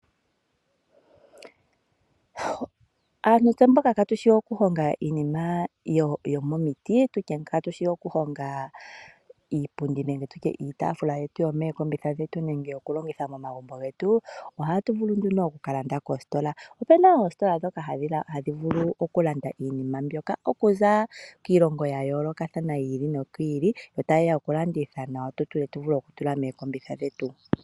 Aantu mboka kaatushi okuhonga iinima yomomoti ngaashi iipundi niitaafula yetu yomookombitha nenge yokulongitha momagumbo getu, ohatu vulu oku kalanda koositola. Ope na oositola ndhoka hadhi vulu okulanda iinima mbyoka okuza kiilonga yayoolokothana, yo tayeya okulanditha nawa tu vule okutula mookombotha dhetu.